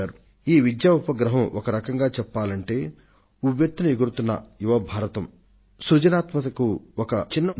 ఒక విధంగా ఈ విద్యా ఉపగ్రహం ఉవ్వెత్తున ఎగురుతున్న యువ భారతం ధైర్యానికి మహత్వాకాంక్షకు సజీవ ఉదాహరణ